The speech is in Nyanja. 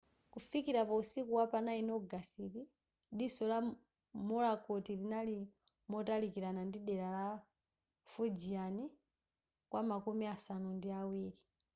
kufikila pa usiku wapa 9 ogasiti diso la morakot linali motalikilana ndi dela la fujian kwamakumi asanu ndi awiri